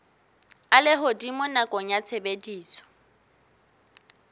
a lehodimo nakong ya tshebediso